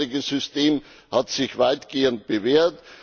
Das bisherige System hat sich weitgehend bewährt.